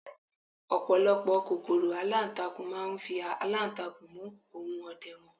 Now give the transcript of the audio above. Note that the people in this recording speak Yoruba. ọpọlọpọ kòkòrò alantakun ma n fi alantakun mu ohun ọdẹ wan